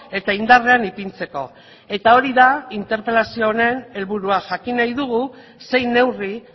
eta indarrean ipintzeko eta hori da interpelazio honen helburua jakin nahi dugu zein neurri